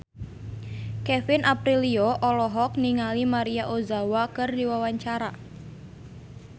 Kevin Aprilio olohok ningali Maria Ozawa keur diwawancara